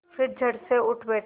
फिर झटसे उठ बैठा